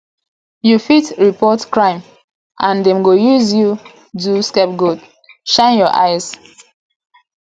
you fit report crime and dem go use you do scape goat shine your eyes